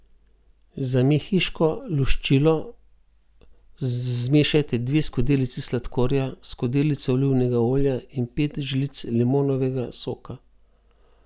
Za mehiško luščilo zmešajte dve skodelici sladkorja, skodelico olivnega olja in pet žlic limonovega soka.